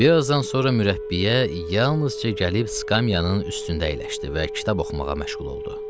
Bir azdan sonra mürəbbiyə yalnızca gəlib skamyanın üstündə əyləşdi və kitab oxumağa məşğul oldu.